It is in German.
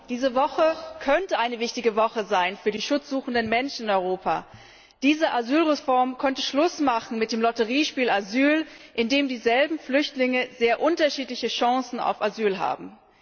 Diese Woche könnte eine wichtige Woche sein für die schutzsuchenden Menschen in Europa. Diese Asylreform könnte Schluss machen mit dem Lotteriespiel Asyl, in dem dieselben Flüchtlinge sehr unterschiedliche Chancen auf Asyl haben.